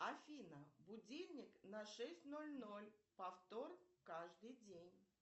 афина будильник на шесть ноль ноль повтор каждый день